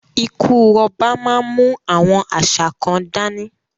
Ikú ọba má ń mú àwọn àṣà kan dání